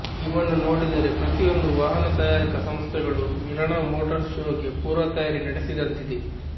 ಇವನ್ನು ನೋಡಿದರೆ ಪ್ರತಿಯೊಂದು ವಾಹನ ತಯಾರಕ ಸಂಸ್ಥೆಗಳು ಮಿಲಾನ್ ಮೋಟಾರ್ ಶೋಗೆ ಪೂರ್ವ ತಯಾರಿ ನಡೆಸಿದಂತಿದೆ